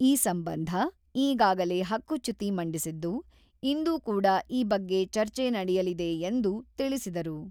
ಈ ಸಂಬಂಧ ಈಗಾಗಲೇ ಹಕ್ಕುಚ್ಯುತಿ ಮಂಡಿಸಿದ್ದು, ಇಂದು ಕೂಡ ಈ ಬಗ್ಗೆ ಚರ್ಚೆ ನಡೆಯಲಿದೆ ಎಂದು ತಿಳಿಸಿದರು.